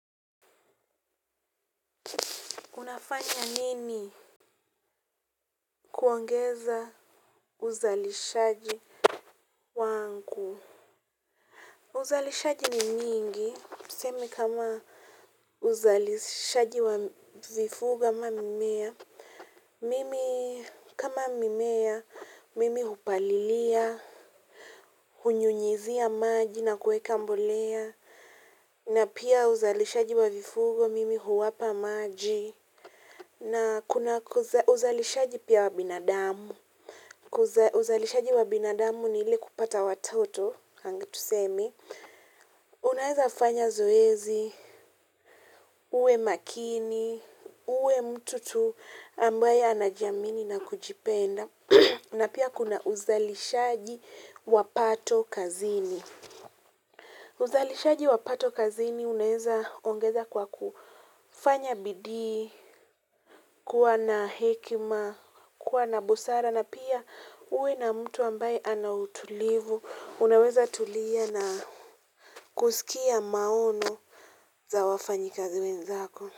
Unafanya nini kuongeza uzalishaji wangu? Uzalishaji ni nyingi, tuseme kama uzalishaji wa vifugo ama mmea mimi kama mimea, mimi hupalilia, hunyunyizia maji na kuweka mbolea. Na pia uzalishaji wa vifugo, mimi huwapa maji. Na kuna uzalishaji pia wa binadamu. Uzalishaji wa binadamu ni ile kupata watoto tuseme unaweza kufanya zoezi, uwe makini, uwe mtu tu ambaye anajiamini na kujipenda. Na pia kuna uzalishaji wa pato kazini. Uzalishaji wa pato kazini unaweza kuongeza kwa kufanya bidi, kuwa na hekima, kuwa na busara. Napia uwe na mtu ambaye anautulivu, unaweza tulia na kusikia maoni za wafanyakazi wenzako.